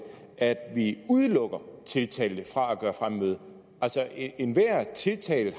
at vi udelukker tiltalte fra at gøre fremmøde altså enhver tiltalt